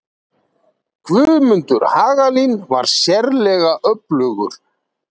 Guðmundur Hagalín var sérlega öflugur.